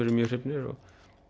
eru mjög hrifnir og